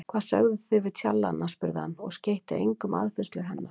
Hvað sögðuð þið við tjallana? spurði hann og skeytti engu um aðfinnslur hennar.